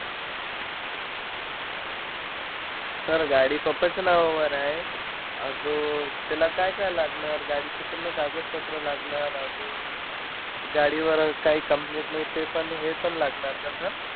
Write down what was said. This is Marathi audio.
Sir गाडी papa च्या नावावर आहे. आजूक अं त्याला काय-काय लागणार? गाडीचं पूर्ण कागदपत्र लागणार, अजून, गाडी वर काई complete नाही ते पण, हे पण लागणार का sir?